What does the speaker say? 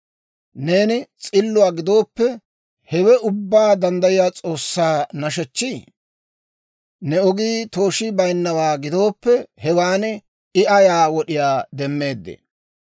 Neeni s'illuwaa gidooppe, hewe Ubbaa Danddayiyaa S'oossaa nashechchii? Ne ogii tooshii bayinnawaa gidooppe, hewan I ayaa wod'iyaa demmeeddee?